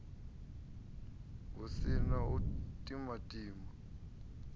hu si na u timatima